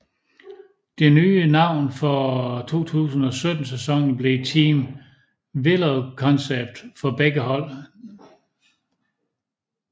Det nye navn for 2017 sæsonen blev Team VéloCONCEPT for begge hold